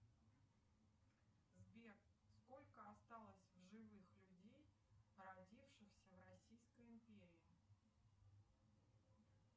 сбер сколько осталось живых людей родившихся в российской империи